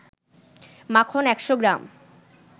মাখন ১০০ গ্রাম